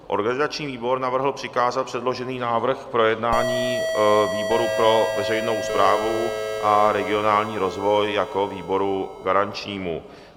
Organizační výbor navrhl přikázat předložený návrh k projednání výboru pro veřejnou správu a regionální rozvoj jako výboru garančnímu.